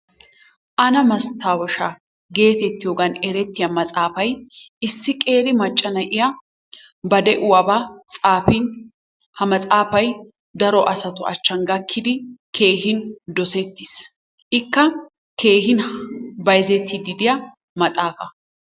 Aanaa mastawoshaa geettettiyogaan erttiya maxaatsaafay issi qeeri macca na'iya ba de'uwabaa tsaafin ha matsaafay daro asatu achchan gakkidi keehin dossettiis. Ikka keehin bayzzettiidi de'iya maaxaafaa.